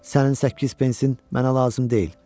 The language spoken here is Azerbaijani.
Sənin 8 pensin mənə lazım deyil.